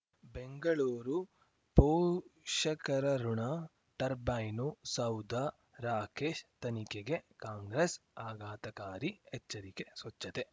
ಬೆಂಗಳೂರು ಪೋಷಕರಋಣ ಟರ್ಬೈನು ಸೌಧ ರಾಕೇಶ್ ತನಿಖೆಗೆ ಕಾಂಗ್ರೆಸ್ ಆಘಾತಕಾರಿ ಎಚ್ಚರಿಕೆ ಸ್ವಚ್ಛತೆ